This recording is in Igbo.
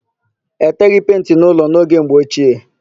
E teghị penti n'ụlọ n'oge mgbe ochie.